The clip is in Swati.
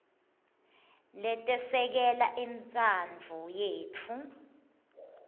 letesekela intsandvo yetfu